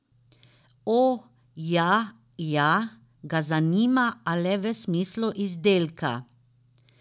O, ja, ja, ga zanima, a le v smislu izdelka.